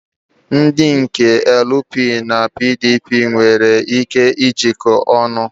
Ndị dị ka LP na PDP nwere ike jikoo ọnu.